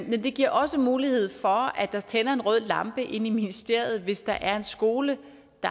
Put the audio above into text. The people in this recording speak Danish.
men det giver også mulighed for at der tænder en rød lampe inde i ministeriet hvis der er en skole